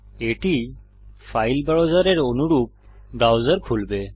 এটি ফাইল ব্রাউসারের অনুরূপ ব্রাউসার খুলবে